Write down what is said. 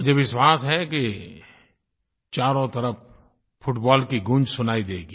मुझे विश्वास है कि चारों तरफ़ फुटबाल की गूँज सुनाई देगी